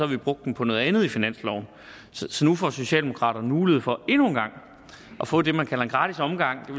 havde brugt dem på noget andet i finansloven så nu får socialdemokraterne mulighed for endnu en gang at få det man kalder en gratis omgang